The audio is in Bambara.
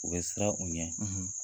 U bɛ siran u ɲɛ